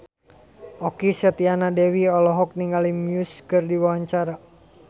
Okky Setiana Dewi olohok ningali Muse keur diwawancara